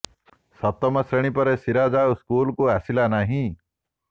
ସପ୍ତମ ଶ୍ରେଣୀ ପରେ ସିରାଜ୍ ଆଉ ସ୍କୁଲ୍କୁ ଆସିଲା ନାହିଁ